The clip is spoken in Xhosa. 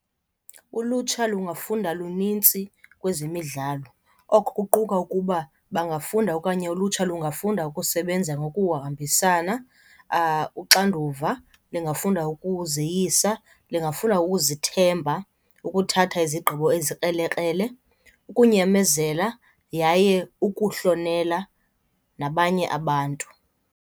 Ulutsha lungafunda lunintsi kwezemidlalo. Oko kuquka ukuba bangafunda okanye ulutsha lungafunda ukusebenza ngokuhambisana, uxanduva, lingafunda ukuzeyisa, lingafunda ukuzithemba, ukuthatha izigqibo ezikrelekrele, ukunyamezela yaye ukuhlonela nabanye abantu.